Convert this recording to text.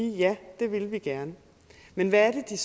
det ville de gerne men hvad er